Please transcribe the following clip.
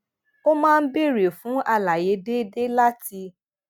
ó máa ń béèrè fún àlàyé déédéé láti